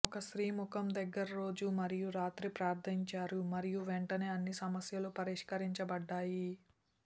ఒక స్త్రీ ముఖం దగ్గర రోజు మరియు రాత్రి ప్రార్ధించారు మరియు వెంటనే అన్ని సమస్యలు పరిష్కరించబడ్డాయి